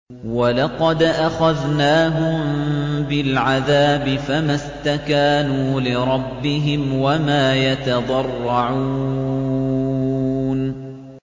وَلَقَدْ أَخَذْنَاهُم بِالْعَذَابِ فَمَا اسْتَكَانُوا لِرَبِّهِمْ وَمَا يَتَضَرَّعُونَ